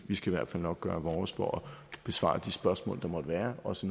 vi skal i hvert fald nok gøre vores for at besvare de spørgsmål der måtte være også